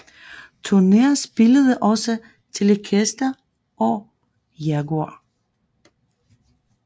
Turner spillede også Telecastere og Jaguar